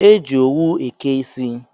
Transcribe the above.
E ji owu eke ịsị